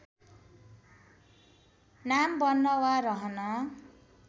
नाम बन्न वा रहन